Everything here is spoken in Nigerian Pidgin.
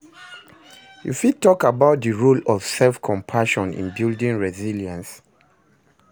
You fit talk about di role of self-compassion in building resilience?